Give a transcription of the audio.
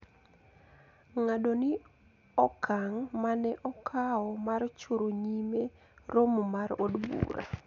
Ng`ado ni okang` ma ne okawo mar choro nyime romo mar od bura